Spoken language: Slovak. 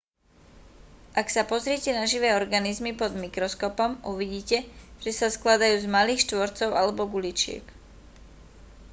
ak sa pozriete na živé organizmy pod mikroskopom uvidíte že sa skladajú z malých štvorcov alebo guličiek